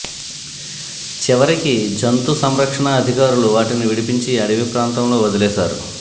చివరికి జంతు సంరక్షణ అధికారులు వాటిని విడిపించి అడవి ప్రాంతంలో వదిలేశారు